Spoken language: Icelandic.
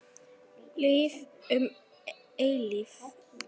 Líf um eilífð.